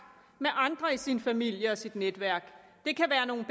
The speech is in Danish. med andre i sin familie og sit netværk det kan være nogle